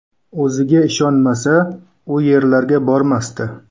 O‘ziga ishonmasa, u yerlarga bormasdi.